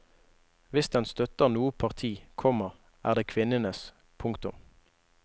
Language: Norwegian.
Hvis den støtter noe parti, komma er det kvinnenes. punktum